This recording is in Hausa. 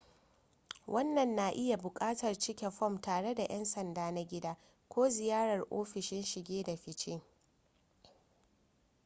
wannan na iya buƙatar cike fom tare da yan sanda na gida ko ziyarar ofisoshin shige da fice